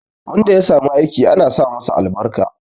Wanda ya samu aiki ana sa masa albarka